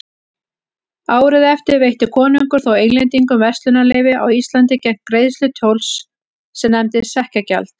Árið eftir veitti konungur þó Englendingum verslunarleyfi á Íslandi gegn greiðslu tolls sem nefndist sekkjagjald.